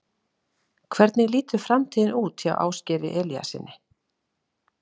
Hvernig lítur framtíðin út hjá Ásgeiri Elíassyni?